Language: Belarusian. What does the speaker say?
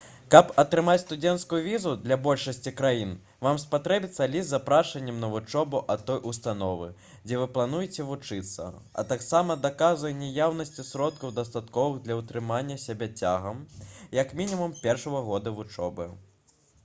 каб атрымаць студэнцкую візу для большасці краін вам спатрэбіцца ліст з запрашэннем на вучобу ад той установы дзе вы плануеце вучыцца а таксама доказы наяўнасці сродкаў дастатковых для ўтрымання сябе цягам як мінімум першага года вучобы